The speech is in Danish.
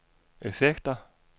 effekter